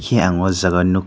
eia ang aw jaaga o nug.